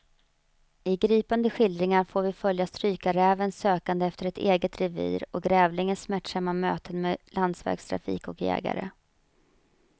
I gripande skildringar får vi följa strykarrävens sökande efter ett eget revir och grävlingens smärtsamma möten med landsvägstrafik och jägare.